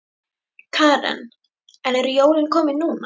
Karen: En eru jólin komin núna?